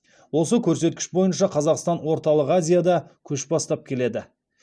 осы көрсеткіш бойынша қазақстан орталық азияда көш бастап келеді